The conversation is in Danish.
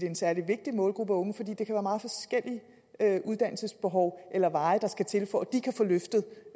en særlig vigtig målgruppe af unge for det er meget forskellige uddannelsesbehov eller veje der skal til for